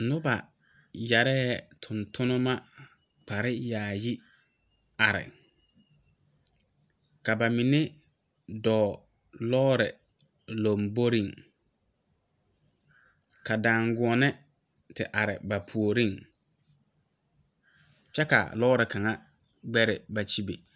Noba yɛree tontonba kparre yaayi are ka ba mine doɔ lɔɔre lamboriŋ ka daangɔɔne te are ba puoriŋ, kyɛ kaa lɔɔre kaŋa gbɛre ba kyɛbe.